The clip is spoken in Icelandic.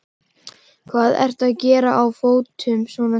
Hvað ertu að gera á fótum svona snemma?